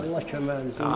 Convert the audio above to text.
Allah köməyiniz olsun.